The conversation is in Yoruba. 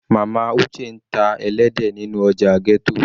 Mama Uche ń ta ẹlẹ́dẹ̀ nínú ọjà ghetto.